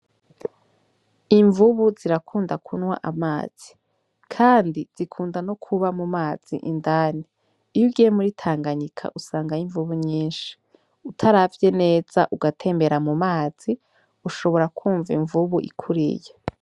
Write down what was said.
Imvubu zirakunda kunwa amazi, kandi zikunda no kuba mu mazi indani. iyo ugiye muri Tanganyika usangayo imvubu nyinshi. Utaravye neza ugatembera mu mazi Ushobora kwumva imvubu ikuriye.